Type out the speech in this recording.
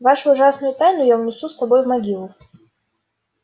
вашу ужасную тайну я унесу с собой в могилу